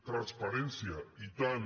transparència i tant